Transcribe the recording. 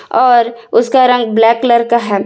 और उसका रंग ब्लैक कलर का है।